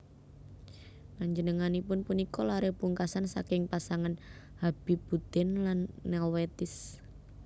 Panjenenganipun punika laré pungkasan saking pasangan Habibuddin lan Nelwetis